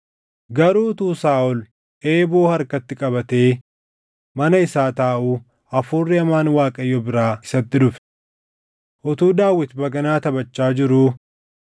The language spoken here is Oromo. Garuu utuu Saaʼol eeboo harkatti qabatee mana isaa taaʼuu hafuuri hamaan Waaqayyo biraa isatti dhufe. Utuu Daawit baganaa taphachaa jiruu,